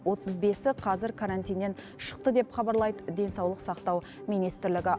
отыз бесі қазір карантиннен шықты деп хабарлайды денсаулық сақтау министрлігі